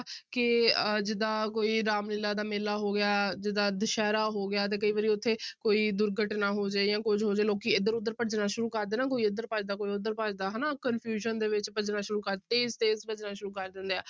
ਕਿ ਅਹ ਜਿੱਦਾਂ ਕੋਈ ਰਾਮ ਲੀਲਾ ਦਾ ਮੇਲਾ ਹੋ ਗਿਆ ਜਿੱਦਾਂ ਦੁਸਹਿਰਾ ਹੋ ਗਿਆ ਤੇ ਕਈ ਵਾਰੀ ਉੱਥੇ ਕੋਈ ਦੁਰਘਟਨਾ ਹੋ ਜਾਏ ਜਾਂ ਕੁਛ ਹੋ ਜਾਏ ਲੋਕੀ ਇੱਧਰ ਉੱਧਰ ਭੱਜਣਾ ਸ਼ੁਰੂ ਕਰਦੇ ਨਾ ਕੋਈ ਇੱਧਰ ਭੱਜਦਾ, ਕੋਈ ਉੱਧਰ ਭੱਜਦਾ ਹਨਾ confusion ਦੇ ਵਿੱਚ ਭੱਜਣਾ ਸ਼ੁਰੂ ਕਰ, ਤੇਜ਼ ਤੇਜ਼ ਭੱਜਣਾ ਸ਼ੁਰੂ ਕਰ ਦਿੰਦੇ ਆ।